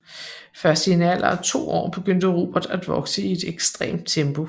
Først i en alder af to år begyndte Robert at vokse i et ekstremt tempo